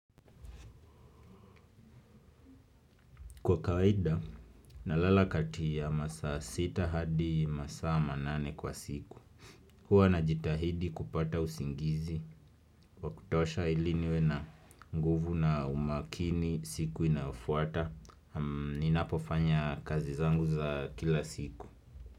Kwa kawaida, nalala kati ya masaa sita hadi masaa manane kwa siku. Huwa na jitahidi kupata usingizi wakutosha ili niwe na nguvu na umakini siku inayofuata. Ninapofanya kazi zangu za kila siku.